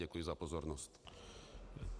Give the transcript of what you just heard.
Děkuji za pozornost.